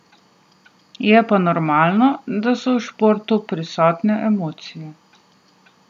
Je pa normalno, da so v športu prisotne emocije.